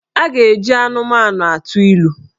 A ga-eji anụmanụ atụ ilu